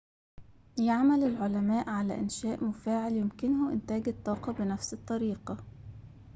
يعمل العلماء على إنشاءِ مفاعلٍ يمكنه إنتاج الطاقة بنفس الطريقة